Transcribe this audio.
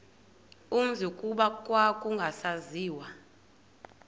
umzi kuba kwakungasaziwa